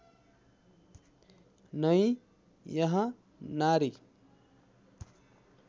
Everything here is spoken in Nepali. नै यहाँ नारी